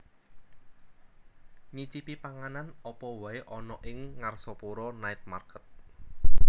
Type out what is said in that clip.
Nyicipi panganan opo wae ono ning Ngarsopuro Night Market